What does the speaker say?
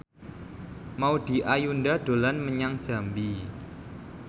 Maudy Ayunda dolan menyang Jambi